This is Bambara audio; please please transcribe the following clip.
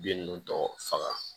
Bin nunnu tɔ faga